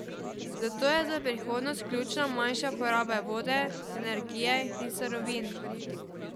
Zato je za prihodnost ključna manjša poraba vode, energije in surovin.